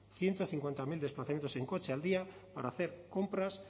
ciento cincuenta mil desplazamientos en coche al día para hacer compras